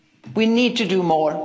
not. We need to do